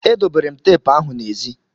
E dobere m teepu ahụ n'ezi.